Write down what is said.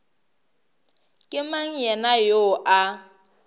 ke mang yena yoo a